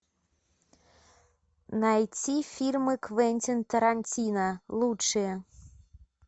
найти фильмы квентин тарантино лучшие